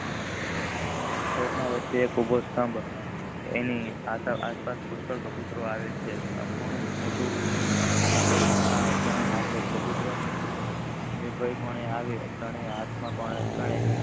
ચોક માં વચ્ચે એક ઉભો સ્તભ પક્ષીના કબુતરો નો આવે છે. બાળકો નું મોટું આકર્ષણ આ ચાન નાખી કબુતરો નિબાલ પાને થાય છે